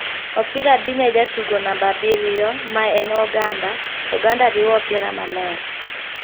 Opira dhi ne jatugo namba abiriyo ma een Oganda, oganda riwo opira maler .